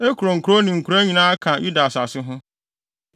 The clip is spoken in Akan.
Ekron nkurow ne nkuraa nyinaa ka Yuda asase ho,